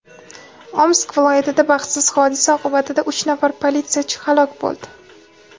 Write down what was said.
Omsk viloyatida baxtsiz hodisa oqibatida uch nafar politsiyachi halok bo‘ldi.